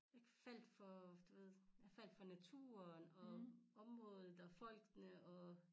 Jeg faldt for du ved jeg faldt for naturen og området og folkene